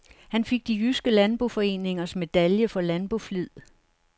Han fik de jyske landboforeningers medalje for landboflid.